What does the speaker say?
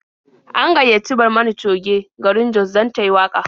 An gayyaci Barmani Coge garin Jos dan tayi waƙa.